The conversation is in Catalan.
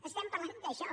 estem parlant d’això